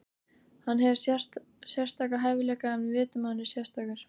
Hann hefur sérstaka hæfileika, við vitum að hann er sérstakur.